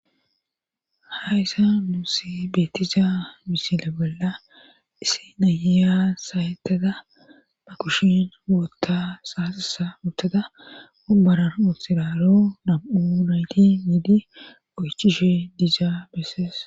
Hayssa muuse beettiza misile bolla issi nayiya sayettada ma kushin wootta saasasa uttada obbaran utthiraro nam7u nayti miidi goychishe dizaa bessees